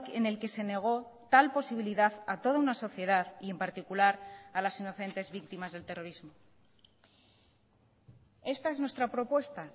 en el que se negó tal posibilidad a toda una sociedad y en particular a las inocentes víctimas del terrorismo esta es nuestra propuesta